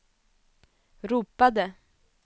ropade